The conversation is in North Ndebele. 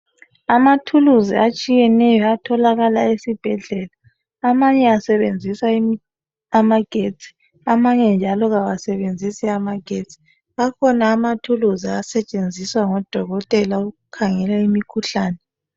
Amathuluzi ahlukeneyo atholakala esibhedlela amanye asebenzisa amagesti amanye njalo akasebenzisi amagesti akhona amathuluzi asetshenziswa ngodokotela ukukhangela imikhuhlane